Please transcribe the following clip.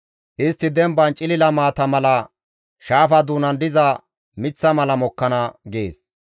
Istti demban cilila maata mala, shaafa doonan diza miththa mala mokkana› gees.